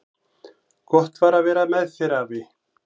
Gott var að vera með þér, afi.